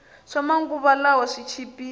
swama nguva lawa swi chipile